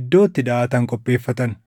iddoo itti daʼatan qopheeffatan.